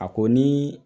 A ko ni